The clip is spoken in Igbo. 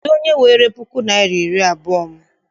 Kedụ onye weere puku naịra na iri abụọ m?